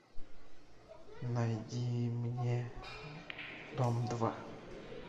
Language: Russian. найди мне дом два